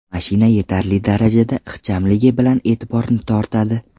Mashina yetarli darajada ixchamligi bilan e’tiborni tortadi.